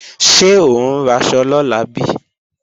Ṣé ò ń raṣọ lọ́la bí?